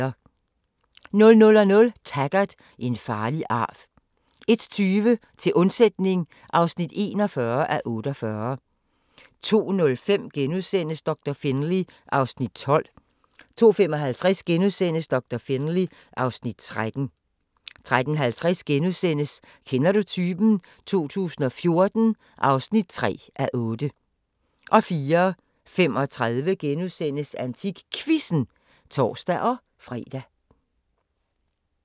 00:00: Taggart: En farlig arv 01:20: Til undsætning (41:48) 02:05: Doktor Finlay (Afs. 12)* 02:55: Doktor Finlay (Afs. 13)* 03:50: Kender du typen? 2014 (3:8)* 04:35: AntikQuizzen *(tor-fre)